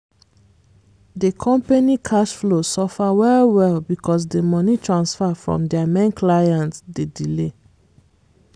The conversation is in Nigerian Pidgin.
di company cash flow suffer well-well because di money transfer from dia main client dey delay.